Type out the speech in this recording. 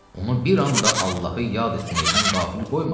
Onu bir anda Allahı yad etməkdən qafil qoymasın.